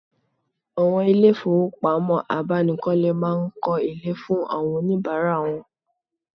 Awon ile ifowopamo abanikole maa n ko ile fun awon onibara won